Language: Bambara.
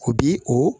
U bi o